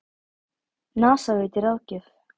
NASA veitir ráðgjöf